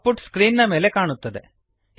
out ಪುಟ್ screen ನ ಮೇಲೆ ಕಾಣುತ್ತದೆ